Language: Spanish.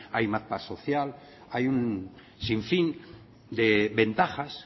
hay más paz social hay un sinfín de ventajas